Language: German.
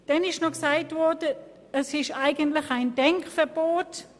Es wurde noch gesagt, der Vorstoss erlasse ein Denkverbot.